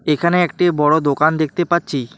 এখানে একটি বড় দোকান দেখতে পাচ্ছি।